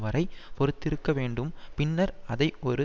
வரை பொறுத்திருக்க வேண்டும் பின்னர் அதை ஒரு